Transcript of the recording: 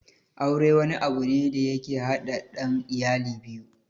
Aure wani abu ne da yake haɗa ɗan iyali biyu